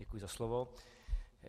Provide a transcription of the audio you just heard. Děkuji za slovo.